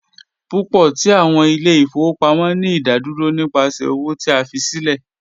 Pupọ ti awọn ile-ifowopamọ ni idaduro nipasẹ owo ti a fi silẹ